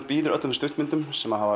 býður öllum stuttmyndum sem hafa